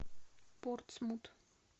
портсмут